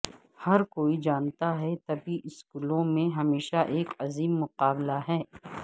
ہر کوئی جانتا ہے طبی اسکولوں میں ہمیشہ ایک عظیم مقابلہ ہے